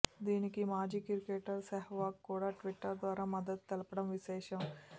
దీనికి మాజీ క్రికెటర్ సెహ్వాగ్ కూడా ట్విట్టర్ ద్వారా మద్దతు తెలిపడం విశేషం